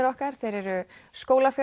okkar þeir eru